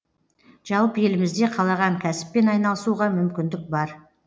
жалпы елімізде қалаған кәсіппен айналысуға мүмкіндік бар